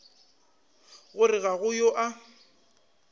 gore ga go yo a